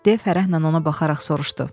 de Fərəhlə ona baxaraq soruşdu.